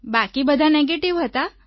બાકી બધા નેગેટિવ હતા